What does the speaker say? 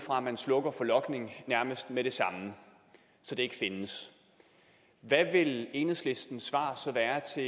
fra at man slukker for logning nærmest med det samme så det ikke findes hvad vil enhedslistens svar så være til